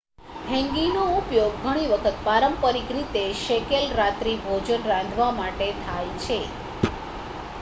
હેન્ગીનો ઉપયોગ ઘણી વખત પારંપરિક રીતે શેકેલ રાત્રિભોજન રાંધવા માટે થાય છે